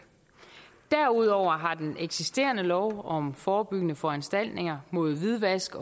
derudover har den eksisterende lov om forebyggende foranstaltninger mod hvidvask